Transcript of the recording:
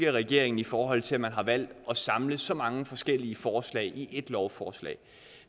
regeringen i forhold til at man har valgt at samle så mange forskellige forslag i ét lovforslag